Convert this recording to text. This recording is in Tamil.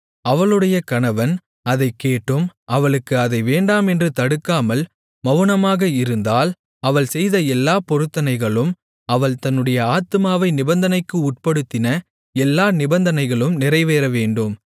அவளுடைய கணவன் அதைக் கேட்டும் அவளுக்கு அதை வேண்டாமென்று தடுக்காமல் மவுனமாக இருந்தால் அவள் செய்த எல்லாப் பொருத்தனைகளும் அவள் தன்னுடைய ஆத்துமாவை நிபந்தனைக்கு உட்படுத்தின எல்லா நிபந்தனைகளும் நிறைவேறவேண்டும்